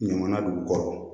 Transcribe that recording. Ɲaman b'u kɔrɔ